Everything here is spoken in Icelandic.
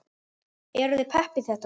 Eruð þið pepp í þetta?